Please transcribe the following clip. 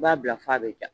I b'a bila f'a bɛ ja